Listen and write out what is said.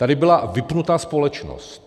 Tady byla vypnuta společnost.